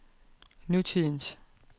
nutidens